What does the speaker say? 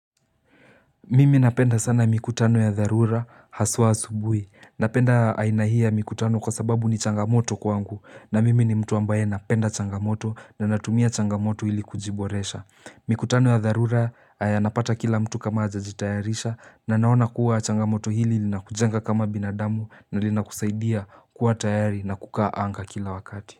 Mimi napenda sana mikutano ya dharura haswa asubuhi. Napenda aina hii ya mikutano kwa sababu ni changamoto kwangu na mimi ni mtu ambaye napenda changamoto na natumia changamoto ili kujiboresha. Mikutano ya dharura yanapata kila mtu kama hajajitayarisha na naona kuwa changamoto hili linakujanga kama binadamu na linakusaidia kuwa tayari na kukaa anga kila wakati.